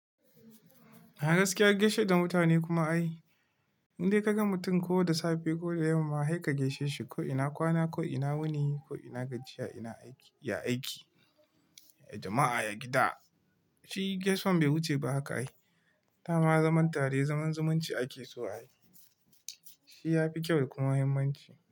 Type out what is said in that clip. A gaskiya, gaishe da mutane kuma ai. In dai ka ga mutum ko da safe ko da yamma, sai ka gaishe shi. Ko ina kwana, ko ina wuni, ko ina gajiya, ina aiki, ya aiki, ya jama'a, ya gida. Shi gaisuwan bai wuce ba haka ai. Da ma zaman tare zaman zumunci ake so ai. Shi ya fi kyau kuma muhimmanci.